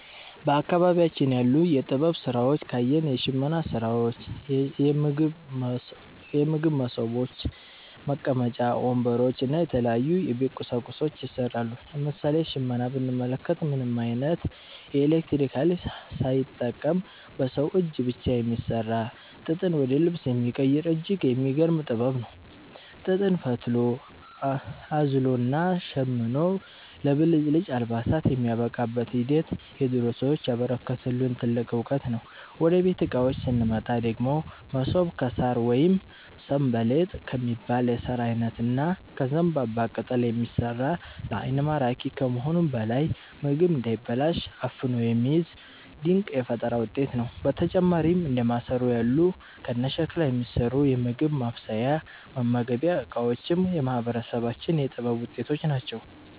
በአካባቢያችን ያሉ የጥበብ ሥራዎችን ካየን፣ የሽመና ሥራዎች፣ የምግብ መሶቦች፣ መቀመጫ ወንበሮች እና የተለያዩ የቤት ቁሳቁሶች ይሠራሉ። ለምሳሌ ሽመናን ብንመለከት፣ ምንም ዓይነት የኤሌክትሪክ ኃይል ሳይጠቀም በሰው እጅ ብቻ የሚሠራ፣ ጥጥን ወደ ልብስ የሚቀይር እጅግ የሚገርም ጥበብ ነው። ጥጥን ፈትሎ፣ አዝሎና ሸምኖ ለብልጭልጭ አልባሳት የሚያበቃበት ሂደት የድሮ ሰዎች ያበረከቱልን ትልቅ ዕውቀት ነው። ወደ ቤት ዕቃዎች ስንመጣ ደግሞ፣ መሶብ ከሣር ወይም 'ሰንበሌጥ' ከሚባል የሣር ዓይነት እና ከዘንባባ ቅጠል የሚሠራ፣ ለዓይን ማራኪ ከመሆኑም በላይ ምግብ እንዳይበላሽ አፍኖ የሚይዝ ድንቅ የፈጠራ ውጤት ነው። በተጨማሪም እንደ ማሰሮ ያሉ ከሸክላ የሚሠሩ የምግብ ማብሰያና መመገቢያ ዕቃዎችም የማህበረሰባችን የጥበብ ውጤቶች ናቸው።